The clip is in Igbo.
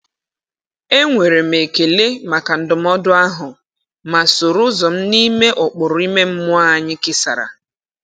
E nwere m ekele maka ndụmọdụ ahụ, ma soro ụzọ m n’ime ụkpụrụ ime mmụọ anyị kesàrà.